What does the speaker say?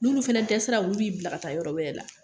N'ulu fana dɛsɛra olu b'i bila ka taa yɔrɔ wɛrɛ la